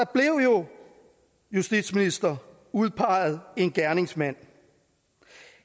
blev jo justitsminister udpeget en gerningsmand